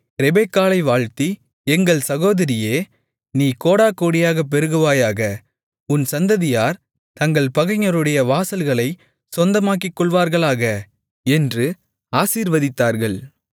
ரெபெக்காளை வாழ்த்தி எங்கள் சகோதரியே நீ கோடாகோடியாகப் பெருகுவாயாக உன் சந்ததியார் தங்கள் பகைஞருடைய வாசல்களைச் சொந்தமாக்கிக்கொள்வார்களாக என்று ஆசீர்வதித்தார்கள்